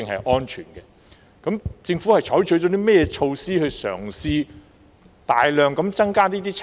就此，究竟政府採取了甚麼措施來嘗試大量增加測試數目呢？